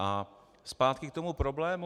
A zpátky k tomu problému.